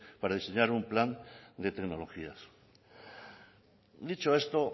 para diseñar un plan de tecnologías dicho esto